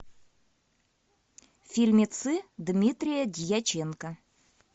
фильмецы дмитрия дьяченко